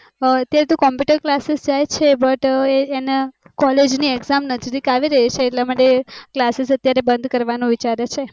તેતો computerclasses જાય છે but એ એને college ની exam નજીક આવે છે એટલે માટે classes બંધ કરવાનું વિચારે છે